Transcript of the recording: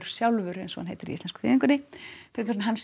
sjálfur eins og hann heitir í íslensku þýðingunni frekar en að hann